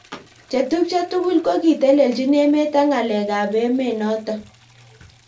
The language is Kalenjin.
Chetubjo tugul kokiteleljin emet ak ngalek ab emet notok.